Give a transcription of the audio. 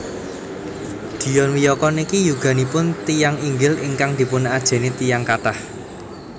Dion Wiyoko niki yuganipun tiyang inggil ingkang dipun ajeni tiyang kathah